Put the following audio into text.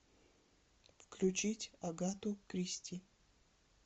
включить агату кристи